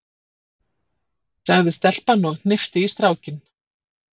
sagði stelpan og hnippti í strákinn.